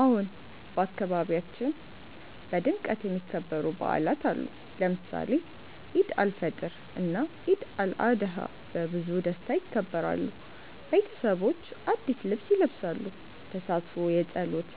አዎን፣ በአካባቢያችን በድምቀት የሚከበሩ በዓላት አሉ። ለምሳሌ ኢድ አልፈጥር እና ኢድ አልአድሃ በብዙ ደስታ ይከበራሉ። ቤተሰቦች አዲስ ልብስ ይለብሳሉ፣ ተሳትፎ የጸሎት